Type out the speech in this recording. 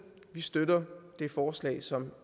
støtter vi det forslag som